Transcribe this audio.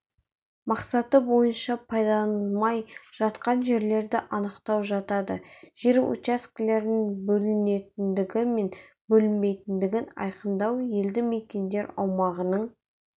мақсаты бойынша пайдаланылмай жатқан жерлерді анықтау жатады жер учаскелерінің бөлінетіндігі мен бөлінбейтіндігін айқындау елді мекендер аумағының